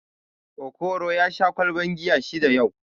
Okoro ya sha ƙwalban giya shida yau